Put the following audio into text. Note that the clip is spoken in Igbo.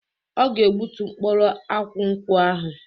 Ọ ga egbutu mkpụrụ akwụ nkwụ ahu.